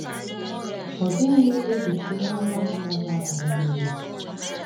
Ọ dịghị ejichi ihe ọma ọ bụla ga - abara ha uru.